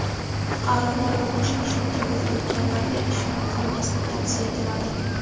fuqarolar va boshqa shu kabi firibgarlarga ishonib qolmaslik tavsiya etiladi.